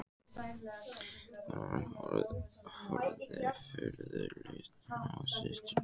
Konan horfði furðu lostin á systurnar.